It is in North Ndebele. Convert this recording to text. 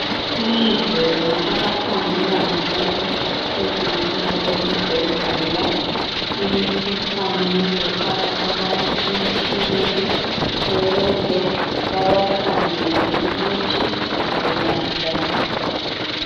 Kulendlela abakhangela ngayo lezinsuku esibhedlela imikhuhlane befaka abantu emtshineni ukuze babakhangele ukuthi ugula njani .